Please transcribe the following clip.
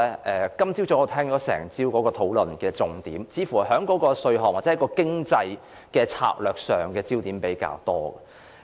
我聽了整個早上大家討論的重點，焦點似乎放在稅項或經濟的策略上比較多。